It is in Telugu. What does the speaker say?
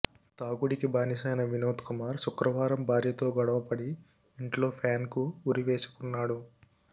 తాగుడికి బానిసైన వినోద్కుమార్ శుక్రవారం భార్యతో గొడవ పడి ఇంట్లో ఫ్యాన్కు ఉరివేసుకున్నాడు